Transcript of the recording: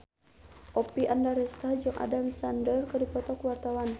Oppie Andaresta jeung Adam Sandler keur dipoto ku wartawan